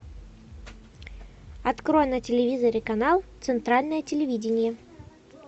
открой на телевизоре канал центральное телевидение